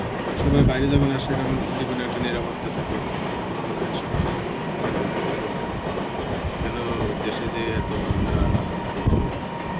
সবাই বাইরে যখন আসে তখন একটা নিরাপত্তা থাকে যে আমার মনে হয় সবকিছু অ্যাঁ নিরাপদ ভাবে চলছে, কেন অ্যাঁ দেশে যে এত ঝামেলা পোয়াব আর কি.